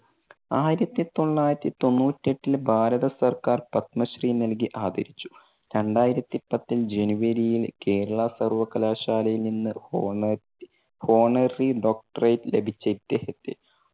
ആയിരത്തി തൊള്ളായിരത്തി തൊണ്ണൂറ്റെട്ടിൽ ഭാരത സർക്കാർ പദ്മശ്രീ നൽകി ആദരിച്ചു. രണ്ടായിരത്തി പത്തിൽ January യിൽ കേരളാ സർവകലാശാലയിൽ നിന്ന് honor~honorary doctorate ലഭിച്ച ഇദ്ദേഹത്തെ